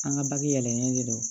An ka bagennen de don